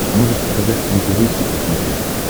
можешь показать нтв хит на смотрешке